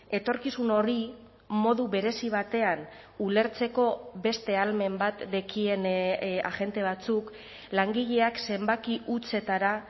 etorkizun horri modu berezi batean ulertzeko beste ahalmen bat dekien agente batzuk langileak zenbaki hutsetara